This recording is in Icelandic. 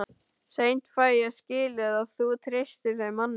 Seint fæ ég skilið að þú treystir þeim manni.